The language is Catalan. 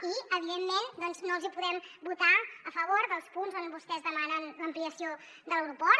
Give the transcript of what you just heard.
i evidentment doncs no els hi podem votar a favor dels punts on vostès demanen l’ampliació de l’aeroport